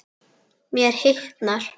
Mér hitnar.